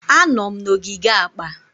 Anọ m na ogige akpa.